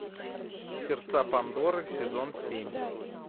сердца пандоры сезон семь